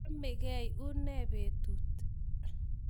Chamngei? Une petut?